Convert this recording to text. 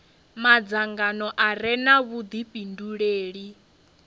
madzangano a re na vhudifhinduleli